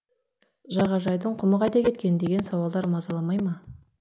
жағажайдың құмы қайда кеткен деген сауалдар мазаламай ма